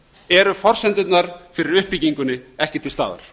eru forsendurnar fyrir uppbyggingunni ekki til staðar